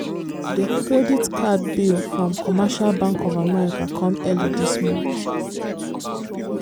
the credit card bill from commercial bank of america come early this month.